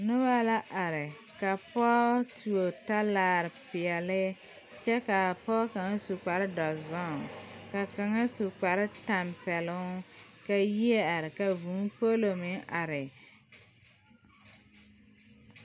Noba la are ka pɔge tuo talare, kaa pɔge kaŋa. su kpare doɔre ka kaŋ su kpare tampɛloŋ, ka yie are ka vʋʋ polo meŋ are,